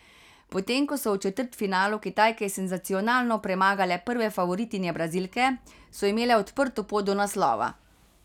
Potem ko so v četrtfinalu Kitajke senzacionalno premagale prve favoritinje Brazilke, so imele odprto pot do naslova.